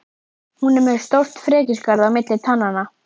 Hún er með stórt frekjuskarð á milli tannanna.